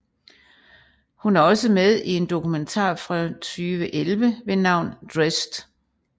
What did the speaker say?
Hun er også med i en dokumentar fra 2011 ved navn Dressed